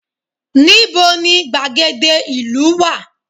Níbo ni gbàgede ìlú wá?